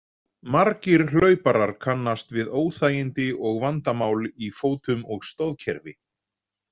Margir hlauparar kannast við óþægindi og vandamál í fótum og stoðkerfi.